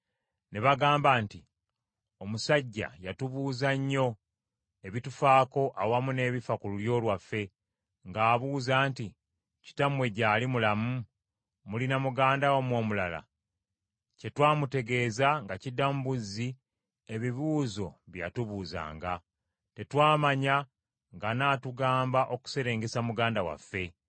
Ne bagamba nti, “Omusajja yatubuuza nnyo ebitufaako awamu n’ebifa ku lulyo lwaffe, ng’abuuza nti, ‘Kitammwe gyali mulamu? Mulina muganda wammwe omulala?’ Kye twamutegeeza nga kiddamu buzzi ebibuuzo bye yatubuuzanga. Tetwamanya ng’anaatugamba okuserengesa muganda waffe.”